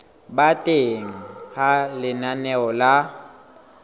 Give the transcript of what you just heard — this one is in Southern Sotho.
ba teng ha lenaneo la